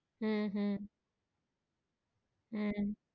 হ্যাঁ হ্যাঁ হ্যাঁ,